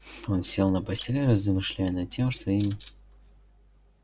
он сел на постель размышляя над тем что им